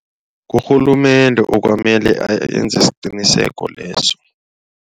Urhulumende okwamele enze isiqiniseko leso.